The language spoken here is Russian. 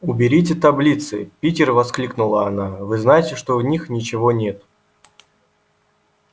уберите таблицы питер воскликнула она вы знаете что в них ничего нет